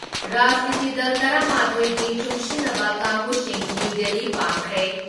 ꯔꯥꯖꯅꯤꯇꯤ ꯗꯜ ꯇꯔꯥ ꯃꯥꯊꯣꯏꯒꯤ ꯂꯨꯡꯁꯤꯟꯅꯕ ꯀꯥꯡꯕꯨ ꯁꯤ ꯅ꯭ꯌꯨ ꯗꯤꯜꯂꯤ ꯄꯥꯡꯈ꯭ꯔꯦ ꯫